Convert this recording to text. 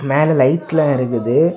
மேல லைட் எல்லா இருக்குது.